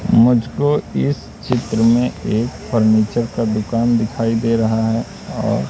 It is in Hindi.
मुझको इस चित्र में एक फर्नीचर का दुकान दिखाई दे रहा है और--